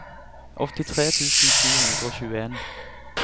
åttitre tusen sju hundre og tjueen